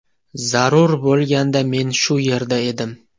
Zarur bo‘lganda men shu yerda edim.